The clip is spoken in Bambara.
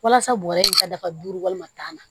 Walasa bɔrɛ in ka dafa duuru walima tan na